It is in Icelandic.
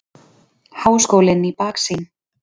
Háskólinn í baksýn.